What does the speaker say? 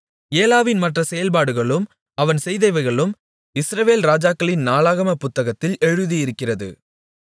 ஏலாவின் மற்ற செயல்பாடுகளும் அவன் செய்தவைகளும் இஸ்ரவேல் ராஜாக்களின் நாளாகமப் புத்தகத்தில் எழுதியிருக்கிறது